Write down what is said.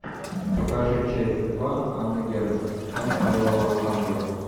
покажи часть два анна герман тайна белого ангела